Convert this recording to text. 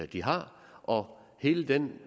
de har og hele den